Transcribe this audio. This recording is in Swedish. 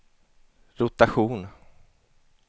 rotation